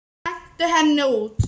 Hentu henni út!